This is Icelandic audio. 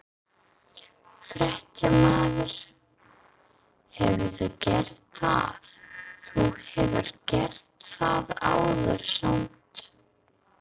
Fréttamaður: Hefurðu gert það, þú hefur gert það áður samt?